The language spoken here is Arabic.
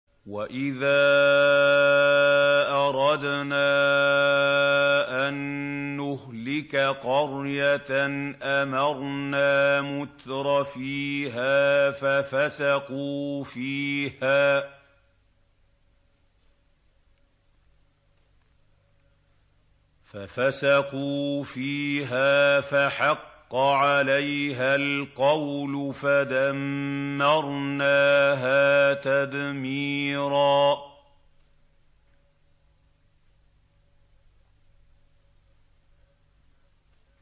وَإِذَا أَرَدْنَا أَن نُّهْلِكَ قَرْيَةً أَمَرْنَا مُتْرَفِيهَا فَفَسَقُوا فِيهَا فَحَقَّ عَلَيْهَا الْقَوْلُ فَدَمَّرْنَاهَا تَدْمِيرًا